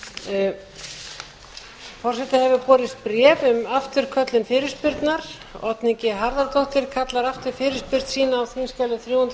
forseta hefur borist bréf um afturköllun fyrirspurnar oddný harðardóttir kallar aftur fyrirspurn sína á þingskjali þrjú hundruð